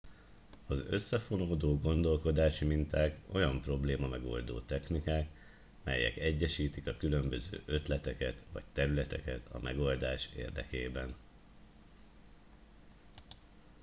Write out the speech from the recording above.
az összefonódó gondolkodási minták olyan problémamegoldó technikák melyek egyesítik a különböző ötleteket vagy területeket a megoldás érdekében